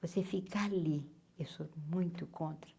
Você fica ali, eu sou muito contra.